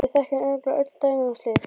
Við þekkjum örugglega öll dæmi um slíkt.